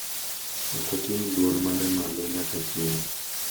Ok oting’ duol mare malo nyaka chieng’